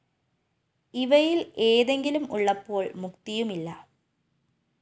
ഇവയില്‍ ഏതെങ്കിലും ഉള്ളപ്പോള്‍ മുക്തിയുമില്ല